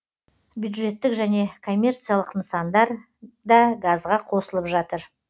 бюджеттік және коммерциялық нысандар да газға қосылып жатыр